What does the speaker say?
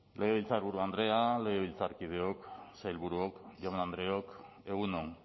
legebiltzarburu andrea legebiltzarkideok sailburuok jaun andreok egun on